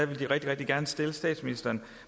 ville de rigtig gerne stille statsministeren